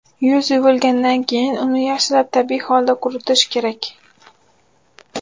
Yuz yuvilgandan keyin uni yaxshilab tabiiy holda quritish kerak.